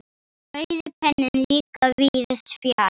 Rauði penninn líka víðs fjarri.